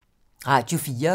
Radio 4